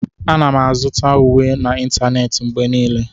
Ana m azụta uwe m n'ịntanetị mgbe niile.